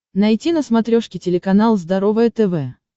найти на смотрешке телеканал здоровое тв